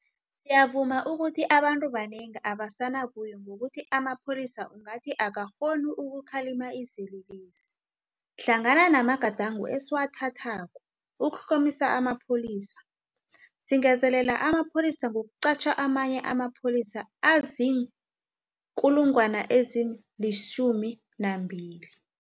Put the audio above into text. Siyavuma ukuthi abantu abanengi abasenabuyo ngokuthi amapholisa ungathi akakghoni ukukhalima izelelesi. Hlangana namagadango esiwathathako ukuhlomisa amapholisa, singezelela amapholisa ngokuqatjha amanye amapholisa azii-12 000.